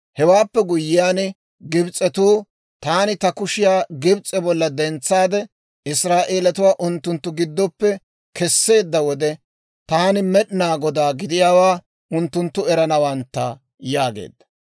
Hewaappe guyiyaan Gibs'etuu, taani ta kushiyaa Gibs'e bolla dentsaade, Israa'eelatuwaa unttunttu giddoppe kesseedda wode, taani Med'inaa Godaa gidiyaawaa unttunttu eranawantta» yaageedda.